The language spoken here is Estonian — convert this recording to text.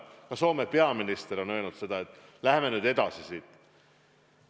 Ka Soome peaminister on öelnud, et läheme nüüd siit edasi.